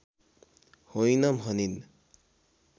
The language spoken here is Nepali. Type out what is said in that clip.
होइन भनिन्